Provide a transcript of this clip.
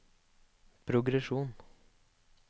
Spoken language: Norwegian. progresjon